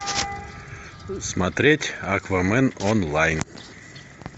смотреть аквамен онлайн